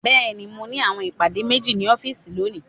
Bẹẹni, Mo ni awọn ipade meji ni ọfiisi loni